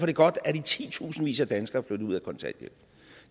det godt at i titusindvis af danskere er flyttet ud af kontanthjælp